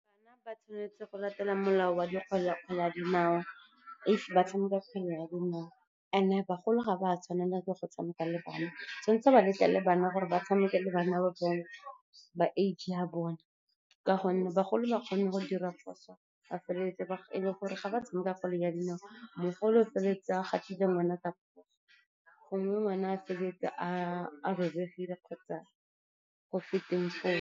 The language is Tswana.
Bana ba tshwanetse go latela molao wa kgwele ya dinao if ba tshameka kgwele ya dinao. And-e bagolo ga ba tshwanela go tshameka le bana, tshwanetse ba letlele bana gore ba tshameke le bana ba age ya bone, ka gonne bagolo ba kgona go dira diphoso ba feleletsa e le gore ga ba tshameka kgwele ya dinao, mogolo o feleletsa a gatile ngwana, ngwana o feleletsa a robegile kgotsa .